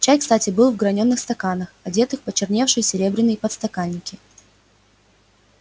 чай кстати был в гранёных стаканах одетых в почерневшие серебряный подстаканники